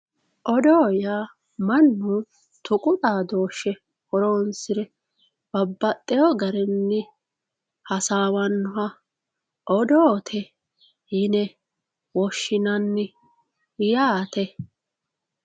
oddo yaa mannu tuqu xaadooshshe horoonsire babbaxxewoo garinni hasaawannoha odoote yine woshshinanni yaate.